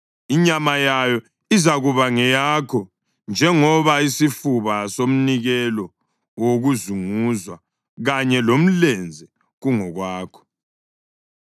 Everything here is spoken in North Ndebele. Inyama yawo izakuba ngeyakho njengoba isifuba somnikelo wokuzunguzwa kanye lomlenze kungokwakho.